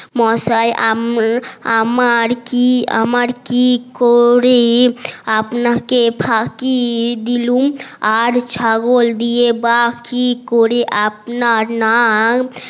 মসাই আমরা আমার কি করে আপনাকে ফাকি দিলুম আর ছাগল দিয়ে বা কি করে আপনার নাক